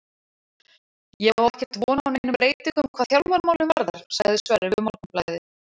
Ég á ekkert von á neinum breytingum hvað þjálfaramálin varðar, sagði Sverrir við Morgunblaðið.